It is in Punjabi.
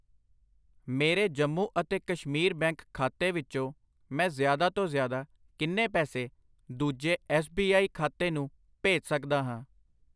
ਮੇਰੇ ਜੰਮੂ ਅਤੇ ਕਸ਼ਮੀਰ ਬੈਂਕ ਖਾਤੇ ਵਿੱਚੋ ਮੈਂ ਜ਼ਿਆਦਾ ਤੋਂ ਜ਼ਿਆਦਾ ਕਿੰਨੇ ਪੈਸੇ ਦੂਜੇ ਐਸ ਬੀ ਆਈ ਖਾਤੇ ਨੂੰ ਭੇਜ ਸੱਕਦਾ ਹਾਂ?